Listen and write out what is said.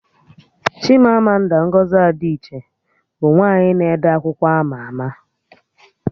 Chimamanda Ngozi Adichie bụ nwaanyị na-ede akwụkwọ ama ama